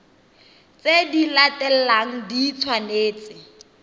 tse di latelang di tshwanetse